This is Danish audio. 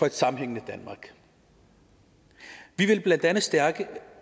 et sammenhængende danmark vi vil blandt andet stærke